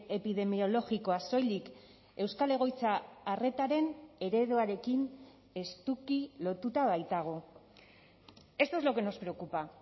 epidemiologikoa soilik euskal egoitza arretaren ereduarekin estuki lotuta baitago esto es lo que nos preocupa